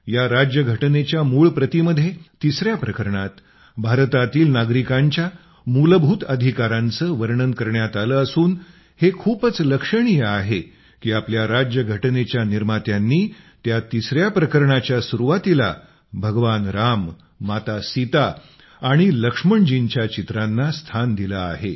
या राज्यघटनेच्या मूळ प्रतीमध्ये तिसऱ्या प्रकरणात भारतातील नागरिकांच्या मूलभूत अधिकारांचे वर्णन करण्यात आले असून हे खूपच लक्षणीय आहे की आपल्या राज्यघटनेच्या निर्मात्यांनी त्या तिसऱ्या प्रकरणाच्या सुरुवातीला भगवान राम माता सीता आणि लक्ष्मणजींच्या चित्रांना स्थान दिले आहे